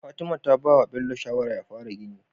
Fatima ta bawa Bello shawara ya fara gini